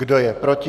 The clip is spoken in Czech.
Kdo je proti?